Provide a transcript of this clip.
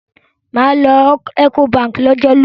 Mà à lọ Ecobank lọ́jọ́ lónìí.